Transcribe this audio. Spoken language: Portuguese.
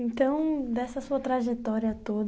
Então, dessa sua trajetória